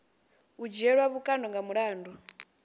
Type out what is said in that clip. u dzhielwa vhukando nga mulandu